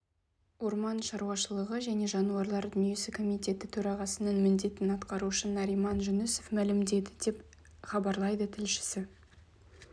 орман шаруашылығы және жануарлар дүниесі комитеті төрағасының міндетін атқарушы нариман жүнісов мәлімдеді деп іабарлайды тілшісі